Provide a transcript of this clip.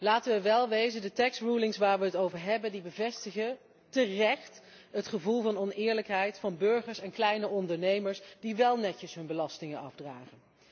Laten wij wel wezen, de belastingbeslissingen waar wij het over hebben, bevestigen terecht het gevoel van oneerlijkheid van burgers en kleine ondernemers die wél netjes hun belasting afdragen.